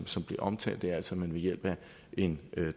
som bliver omtalt er altså at man ved hjælp af en